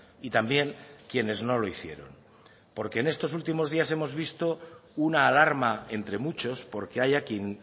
y también quienes no lo hicieron porque en estos últimos días hemos visto una alarma entre muchos porque haya quien